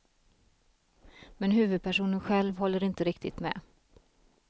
Men huvudpersonen själv håller inte riktigt med.